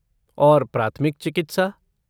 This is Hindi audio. और प्राथमिक चिकित्सा?